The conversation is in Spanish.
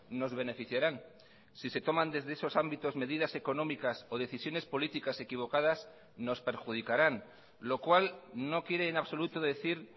nos beneficiarán si se toman desde esos ámbitos medidas económicas o decisiones políticas equivocadas nos perjudicarán lo cual no quiere en absoluto decir